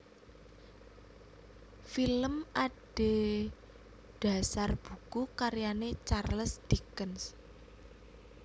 Film adhedhasar buku karyané Charles Dickens